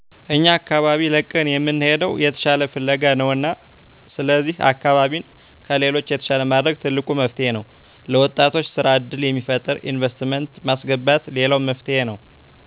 አኛ አካባቢ ለቀን የምንሔደው የተሻለ ፍለጋ ነውና ስለዚሕ አካባቢን ከሌሎች የተሻለ ማድረግ ትልቁ መፍትሔ ነው። ለወጣቶች ስራ ዕድል የሚፈጥር ኢንቨስትመንት ማስገባት ሌላው መፍትሔ ነው።